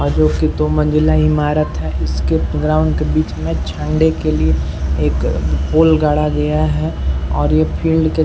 आगे दो मंज़िला ईमारत है इसके ग्राउण्ड के बीच में झण्डे के लिए एक पोल गाड़ा गया है और यह के --